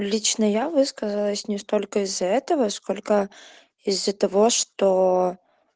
лично я высказалась не столько из-за этого сколько из-за того что